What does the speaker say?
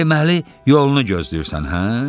Deməli yolunu gözləyirsən, hə?